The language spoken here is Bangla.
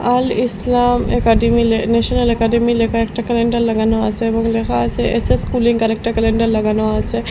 আল ইসলাম একাডেমী লে ন্যাশনাল একাডেমী লেখা একটা ক্যালেন্ডার লাগানো আছে এবং লেখা আছে এস_এস কুলিং আরেকটা ক্যালেন্ডার লাগানো আছে।